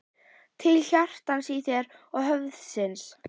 Til hjartans í þér og höfuðsins.